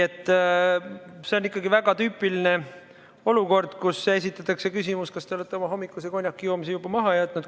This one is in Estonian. See on ikkagi väga tüüpiline olukord: esitatakse küsimus, kas te olete oma hommikuse konjakijoomise juba maha jätnud.